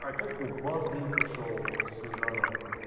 а как у вас день прошёл снежана